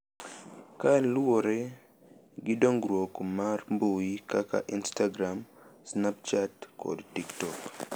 Kaluwore gi dongruok mar mbui kaka Instagram, Snapchat, kod TikTok.